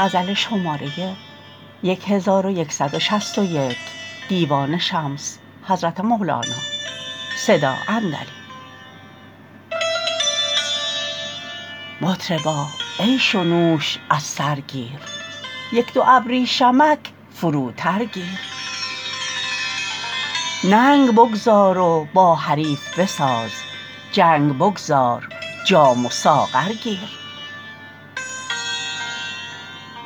مطربا عیش و نوش از سر گیر یک دو ابریشمک فروتر گیر ننگ بگذار و با حریف بساز جنگ بگذار جام و ساغر گیر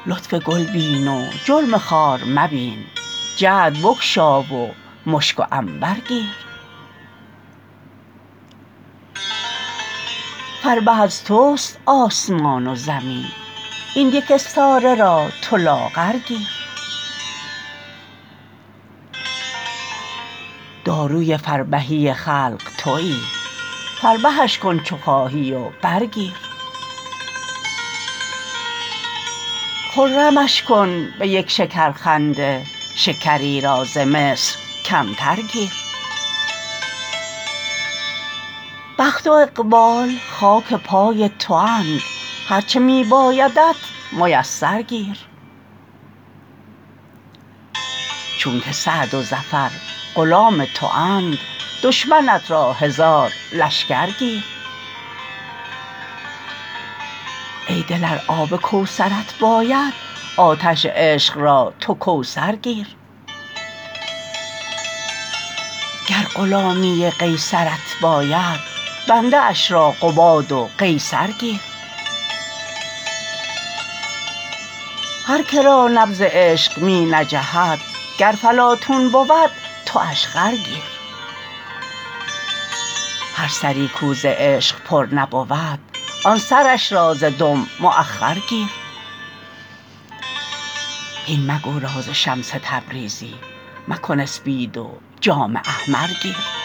لطف گل بین و جرم خار مبین جعد بگشا و مشک و عنبر گیر فربه از توست آسمان و زمین این یک استاره را تو لاغر گیر داروی فربهی خلق توی فربهش کن چو خواهی و برگیر خرمش کن به یک شکرخنده شکری را ز مصر کمتر گیر بخت و اقبال خاک پای تواند هر چه می بایدت میسر گیر چونک سعد و ظفر غلام تواند دشمنت را هزار لشکر گیر ای دل ار آب کوثرت باید آتش عشق را تو کوثر گیر گر غلامی قیصرت باید بنده اش را قباد و قیصر گیر هر که را نبض عشق می نجهد گر فلاطون بود تواش خر گیر هر سری کو ز عشق پر نبود آن سرش را ز دم مأخر گیر هین مگو راز شمس تبریزی مکن اسپید و جام احمر گیر